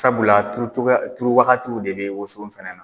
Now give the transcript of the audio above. Sabula turu cogoya turu waatiw de bɛ woso fɛnɛ na.